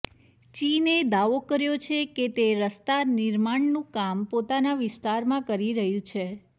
ચીને દાવો કર્યો છે કે તે રસ્તા નિર્માણનું કામ પોતાના વિસ્તારમાં કરી રહ્યું છે